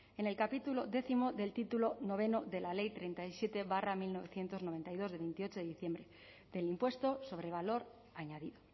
en el capítulo décimo del título noveno de la ley treinta y siete barra mil novecientos noventa y dos de veintiocho de diciembre del impuesto sobre valor añadido